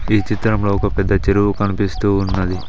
ఈ చిత్రంలో ఒక పెద్ద చెరువు కనిపిస్తూ ఉన్నది.